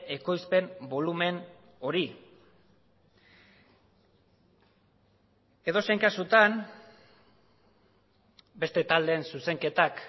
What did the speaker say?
ekoizpen bolumen hori edozein kasutan beste taldeen zuzenketak